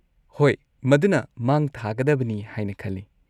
ꯍꯣꯏ, ꯃꯗꯨꯅ ꯃꯥꯡ ꯊꯥꯒꯗꯕꯅꯤ ꯍꯥꯏꯅ ꯈꯜꯂꯤ꯫